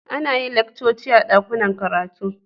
Ana yin laccoci a dakunan karatu.